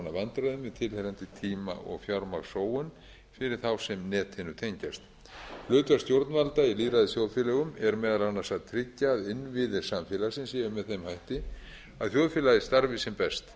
konar vandræðum með tilheyrandi tíma og fjármagnssóun fyrir þá sem netinu tengjast hlutverk stjórnvalda í lýðræðisþjóðfélögum er meðal annars að tryggja að innviðir samfélagsins séu með þeim hætti að þjóðfélagið starfi sem best